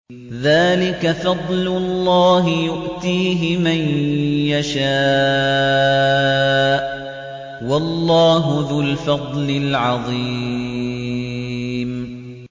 ذَٰلِكَ فَضْلُ اللَّهِ يُؤْتِيهِ مَن يَشَاءُ ۚ وَاللَّهُ ذُو الْفَضْلِ الْعَظِيمِ